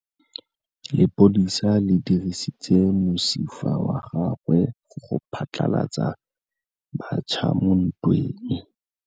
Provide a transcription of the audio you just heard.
Lepodisa le dirisitse mosifa wa gagwe go phatlalatsa batšha mo ntweng.